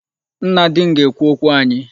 Nna di m ga-ekwu okwu anyị.